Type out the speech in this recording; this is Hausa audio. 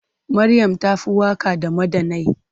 Maryam ta fi waka da madannai.